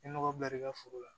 I ye nɔgɔ bila i ka foro la